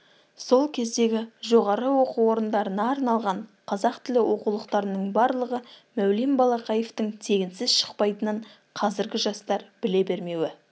сол кездегі жоғары оқу орындарына арналған қазақ тілі оқулықтарының барлығы мәулен балақаевтың тегінсіз шықпайтынын қазіргі жастар біле бермеуі